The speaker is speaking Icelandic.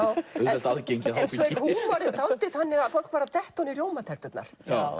auðvelt aðgengi húmorinn er dálítið þannig að fólk var að detta ofan í rjómaterturnar